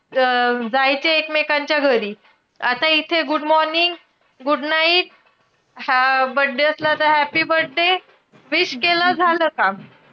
ज~ अं जायचे एकमेकांच्या घरी. आता इथे good morning good night, हा birthday असला तर, happy birthday wish केलं झालं काम.